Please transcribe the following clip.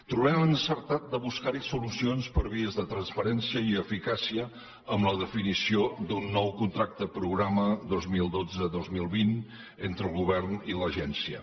trobem encertat buscar hi solucions per vies de transparència i eficàcia amb la definició d’un nou contracte programa dos mil dotze dos mil vint entre el govern i l’agència